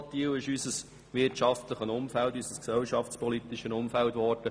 Zu volatil ist unser wirtschaftliches, unser gesellschaftspolitisches Umfeld geworden.